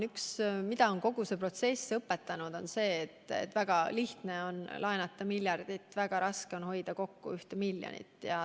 Mida kogu see protsess on õpetanud, on see, et väga lihtne on laenata miljardit, aga väga raske on hoida kokku miljonit.